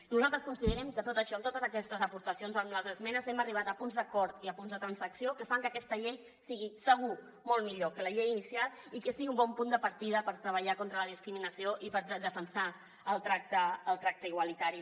nosaltres considerem que amb tot això amb totes aquestes aportacions amb les esmenes hem arribat a punts d’acord i a punts de transacció que fan que aquesta llei sigui segur molt millor que la llei inicial i que sigui un bon punt de partida per treballar contra la discriminació i per defensar el tracte igualitari